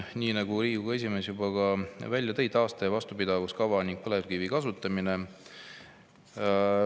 Nii nagu Riigikogu esimees juba välja tõi, taaste- ja vastupidavuskava ning põlevkivi kasutamine.